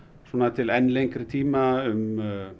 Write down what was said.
til enn lengri tíma um